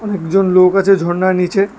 অনেকজন লোক আছে ঝর্নার নিচে।